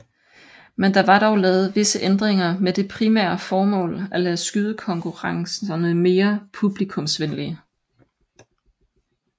Men der var dog lavet visse ændringer med det primære formål at lave skydekonkurrencerne mere publikumsvenlige